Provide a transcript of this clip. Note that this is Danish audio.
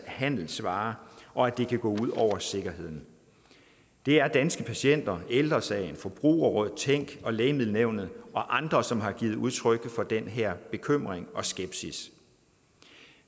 handelsvare og det kan gå ud over sikkerheden det er danske patienter ældre sagen forbrugerrådet tænk lægemiddelnævnet og andre som har givet udtryk for den her bekymring og skepsis